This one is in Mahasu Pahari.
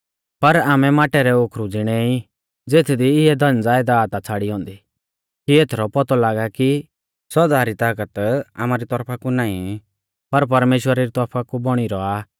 पर आमै माटै रै ओखरु ज़िणै ई ज़ेथदी इऐ धन ज़यदाद आ छ़ाड़ी औन्दी कि एथरौ पौतौ लागा कि इऐ सौदा री तागत आमारी तौरफा कु नाईं पर परमेश्‍वरा री तौरफा कु बौणी रौआ